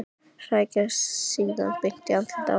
Hrækja síðan beint í andlitið á henni.